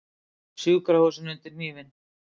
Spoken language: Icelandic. Sjúkrahúsin undir hnífinn